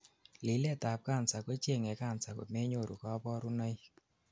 lilet ab cancer kochengei cancer komenyoru kabarunoik